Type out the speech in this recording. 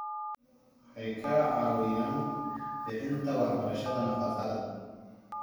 Waxay ka caawiyaan bixinta waxbarashada nafaqada.